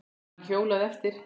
Hann hjólaði eftir